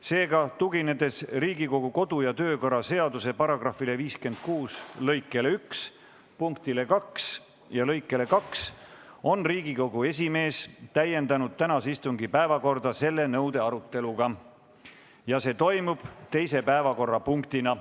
Seega, tuginedes Riigikogu kodu- ja töökorra seaduse § 56 lõike 1 punktile 2 ja lõikele 2, on Riigikogu esimees täiendanud tänase istungi päevakorda selle nõude aruteluga ja see toimub teise päevakorrapunktina.